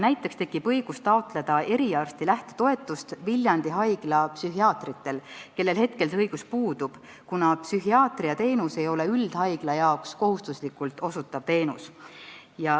Näiteks tekib õigus taotleda eriarsti lähtetoetust Viljandi Haigla psühhiaatritel, kellel see õigus seni on puudunud, kuna psühhiaatriateenus ei ole üldhaigla jaoks kohustuslikult osutatav teenus.